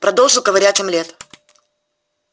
продолжил ковырять омлет